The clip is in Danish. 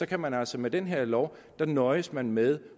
kan man altså med den her lov nøjes med med